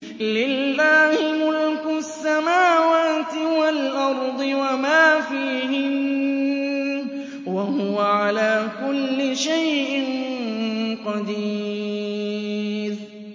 لِلَّهِ مُلْكُ السَّمَاوَاتِ وَالْأَرْضِ وَمَا فِيهِنَّ ۚ وَهُوَ عَلَىٰ كُلِّ شَيْءٍ قَدِيرٌ